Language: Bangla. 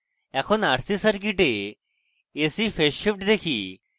এখন rc circuit ac phase shift দেখি